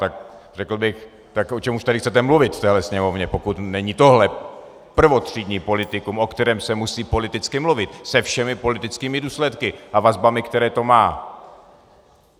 Tak řekl bych, tak o čem už tady chcete mluvit v téhle Sněmovně, pokud není tohle prvotřídní politikum, o kterém se musí politicky mluvit, se všemi politickými důsledky a vazbami, které to má?